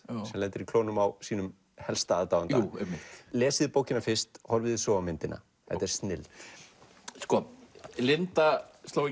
sem lendir í klónum á sínum helsta aðdáanda lesið bókina fyrst horfið svo á myndina þetta er snilld sko Linda sló í